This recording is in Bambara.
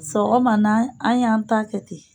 Sɔgɔmana, an y'an ta kɛ ten.